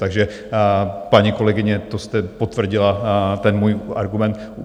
Takže paní kolegyně, to jste potvrdila ten můj argument.